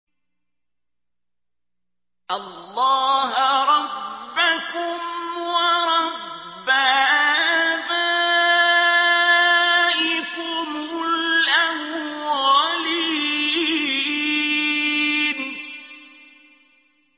اللَّهَ رَبَّكُمْ وَرَبَّ آبَائِكُمُ الْأَوَّلِينَ